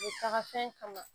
U taga fɛn kama